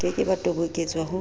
ke ke ba toboketswa ho